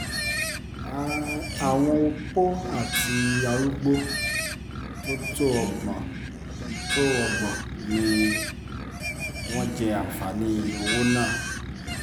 àwọn opó àti arúgbó tó tó ọgbọ̀n tó ọgbọ̀n ni wọ́n jẹ́ àǹfààní owó náà